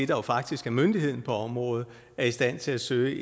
jo faktisk er myndigheden på området er i stand til at søge